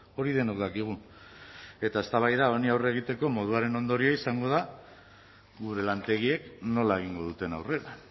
hori denok dakigu eta eztabaida honi aurre egiteko moduaren ondorioa izango da gure lantegiek nola egingo duten aurrera